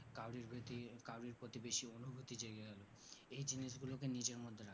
কাও রির প্রীতি কাও রির প্রতি বেশি অনুভূতি জেগে গেলো এই জিনিস গুলোকে নিজের মধ্যে রাখো